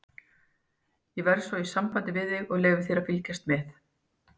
Ég verð svo í sambandi við þig og leyfi þér að fylgjast með.